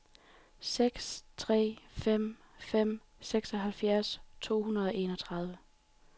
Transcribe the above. seks tre fem fem treoghalvfjerds to hundrede og enogtredive